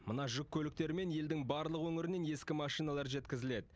мына жүк көліктерімен елдің барлық өңірінен ескі машиналар жеткізіледі